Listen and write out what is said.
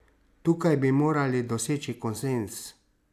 Tukaj bi morali doseči konsenz!